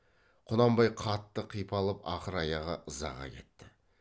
құнанбай қатты қипалып ақыр аяғы ызаға кетті